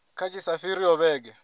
kha tshi sa fhiriho vhege